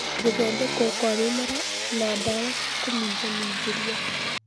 Gũthondekwo kwa mĩmera na ndawa cia kũminjaminjĩria